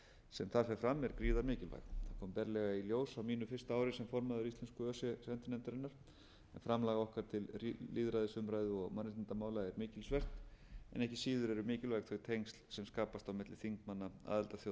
sem þar fer fram er gríðarmikilvæg það kom berlega í ljós á mínu fyrsta ári sem formaður íslensku öse sendinefndarinnar að framlag okkar til lýðræðisumræðu og mannréttindamála er mikilsvert en ekki síður eru mikilvæg þau tengsl sem skapast á milli þingmanna aðildarþjóða það kom